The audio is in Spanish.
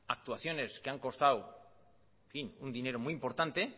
actuaciones que han costado en fin un dinero muy importante